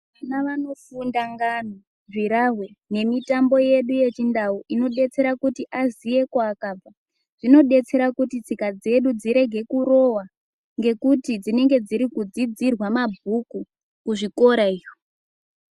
Vana vanofunda ngano, zvirahwe nemitambo yedu yechiNdau inodetsera kuti aziye kwaakabva. Zvinodetsera kuti tsika dzedu dzirege kurova ngekuti dzinenge dziri kudzidzirwa mabhuku kuzvikora iyo.